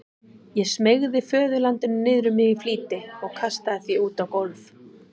Ég smeygði föðurlandinu niður um mig í flýti og kastaði því út á gólf.